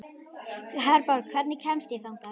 Herborg, hvernig kemst ég þangað?